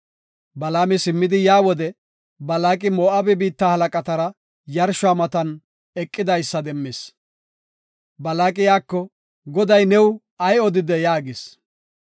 Balaami simmidi yaa wode Balaaqi Moo7abe biitta halaqatara yarshuwa matan eqidaysa demmis. Balaaqi iyako, “Goday new ay odidee?” yaagis.